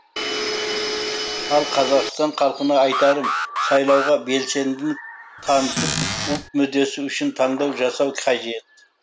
ал қазақстан халқына айтарым сайлауға белсенділік танытып ұлт мүддесі үшін таңдау жасау қажет